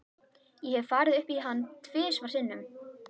Ég hef farið upp í hann tvisvar sinnum.